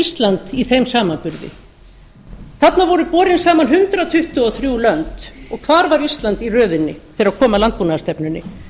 ísland í þeim samanburði þarna voru borin saman hundrað tuttugu og þrjú lönd og hvar var ísland í röðinni þegar kom að landbúnaðarstefnunni